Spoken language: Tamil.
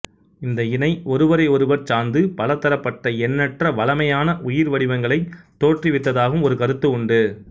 இந்த இணை ஒருவரை ஒருவர் சார்ந்து பலதரப்பட்ட எண்ணற்ற வளமையான உயிர் வடிவங்களைத் தோற்றுவித்ததாகவும் ஒரு கருத்து உண்டு